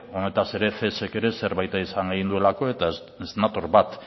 honetaz ere cesk ere zerbait esan nahi duelako eta ez nator bat